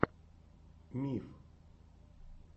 миф